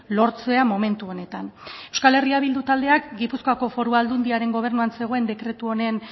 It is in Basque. lortzea momentu honetan euskal herria bildu taldeak gipuzkoako foru aldundiaren gobernuan zegoen dekretu honen